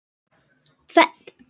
Trén beygja greinar sínar.